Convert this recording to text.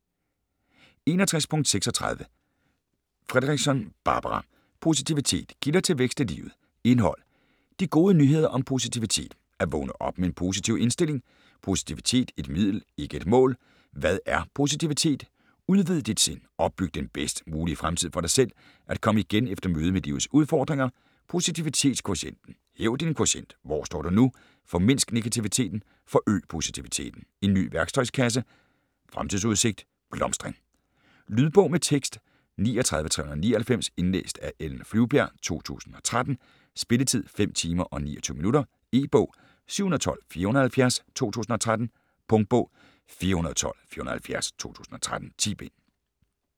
61.36 Fredrickson, Barbara: Positivitet: kilder til vækst i livet Indhold: De gode nyheder om positivitet (At vågne op med en positiv indstilling, Positivitet: et middel ikke et mål, Hvad er positivitet?, Udvid dit sind, Opbyg den bedst mulige fremtid for dig selv, At komme igen efter mødet med livets udfordringer, Posivititetskvotienten), Hæv din kvotient (Hvor står du nu, Formindsk negativiteten, Forøg positiviteten, En ny værktøjskasse, Fremtidsudsigt, blomstring). Lydbog med tekst 39399 Indlæst af Ellen Flyvbjerg, 2013. Spilletid: 5 timer, 29 minutter. E-bog 712470 2013. Punktbog 412470 2013. 10 bind.